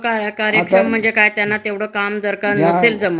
हं म्हणजे तिथे ही आपण सुरक्षित आहो अस नाही.